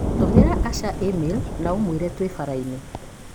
Tũmĩra Asha i-mīrū na ũmwĩre twĩ baraĩnĩ.